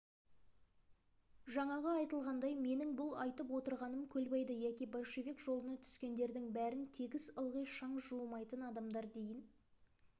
жаңағы айтылғандай менің бұл айтып отырғаным көлбайды яки большевик жолына түскендердің бәрін тегіс ылғи шаң жуымайтын адамдар дейін